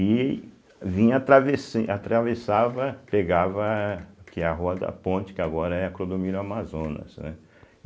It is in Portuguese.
e vinha, atravessem atravessava, pegava, que é a rua da ponte, que agora é a Clodomiro Amazonas, né.